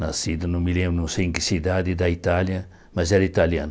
Nascida, não me lembro, não sei em que cidade da Itália, mas era italiana.